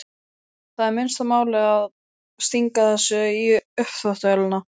Það er minnsta málið að stinga þessu í uppþvottavélina.